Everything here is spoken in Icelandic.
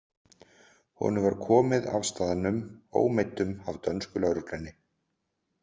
Honum var komið af staðnum ómeiddum af dönsku lögreglunni.